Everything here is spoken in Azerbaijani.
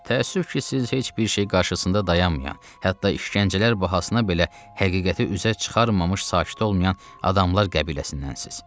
Təəssüf ki, siz heç bir şey qarşısında dayanmayan, hətta işgəncələr bahasına belə həqiqəti üzə çıxarmamış sakit olmayan adamlar qəbiləsindənsiz.